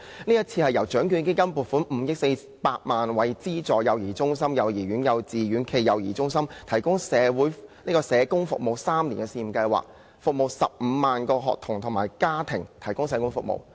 計劃是由獎券基金撥款5億400萬元，資助幼兒中心、幼兒園、幼稚園暨幼兒中心社工服務3年的試驗計劃，為15萬名學童及其家庭提供社工服務。